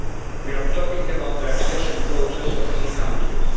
We are talking about the accession process of three countries.